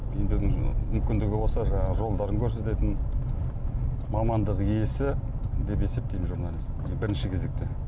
емдеудің мүмкіндігі болса жаңағы жолдарын көрсететін мамандық иесі деп есептеймін журналист бірінші кезекте